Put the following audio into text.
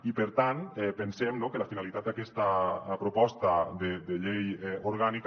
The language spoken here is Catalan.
i per tant pensem no que la finalitat d’aquesta proposta de llei orgànica